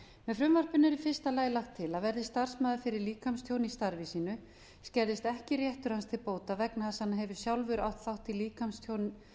frumvarpinu er í fyrsta lagi lagt til að verði starfsmaður fyrir líkamstjóni í starfi sínu skerðist ekki réttur hans til bóta vegna þess að hann hefur sjálfur átt